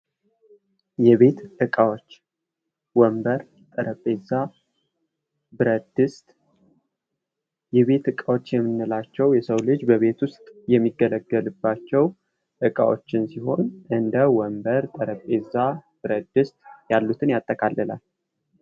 የቤት እቃዎች ወንበር ጠረጴዛ ብረት ድስት የቤት እቃዎች የምንላቸው የሰው ልጅ በቤት ውስጥ የሚገለገልባቸው እቃዎችን ሲሆን እንደ ወንበር ጠረጴዛ ብረት ድስት ያሉትን ያጠቃልላል።